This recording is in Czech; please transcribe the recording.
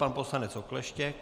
Pan poslanec Okleštěk.